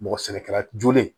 Mɔgɔ sɛnɛkɛlajolen